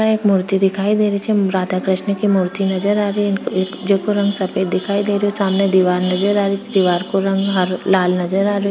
यहाँ एक मूर्ति दिखाई दे रही छे राधा कृष्णा की मूर्ति नजर आरी जेको रंग सफ़ेद दिखाई दे रहो सामने दिवार नजर आ रही छे दीवार का रंग हरा लाल नजर आ रो।